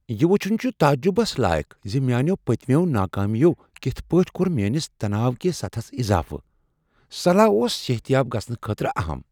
یہ وُچھن چھ تعجبس لایق زِ میانیو پٔتمیو ناکٲمیو کِتھ پٲٹھۍ کوٚر میٲنس تناو کس سطحس اضافہ۔ صلاح اوس صحت یاب گژھنہٕ خٲطرٕ اہم۔